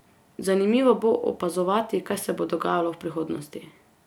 Zanimivo bo opazovati, kaj se bo dogajalo v prihodnosti.